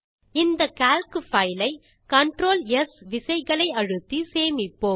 இந்த calc file ஐ CTRL S விசைகளை அழுத்தி சேமிப்போம்